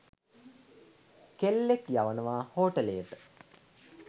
කෙල්ලෙක්‌ යවනවා හෝටලේට